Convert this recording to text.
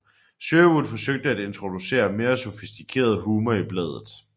Sherwood forsøgte at introducere mere sofistikeret humor i bladet